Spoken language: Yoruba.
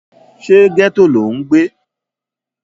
ṣé gẹ́tò lò ń gbé?